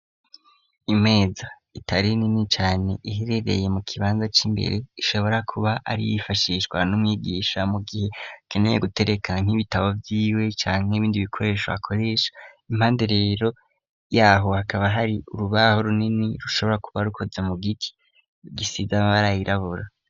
Imeza itari nini cane iherereye mu kibanza c'imbere ishobora kuba ari iyifashishwa n'umwigisha mu gihe akeneye gutereka nk'ibitabo vy'iwe canke ibindi bikoresho akoresha, impande rero yaho hakaba hari urubaho runini rushobora kuba rukoze mu giti gisize amara yirabura.